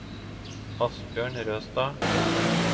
Asbjørn Røstad